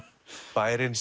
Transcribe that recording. bærinn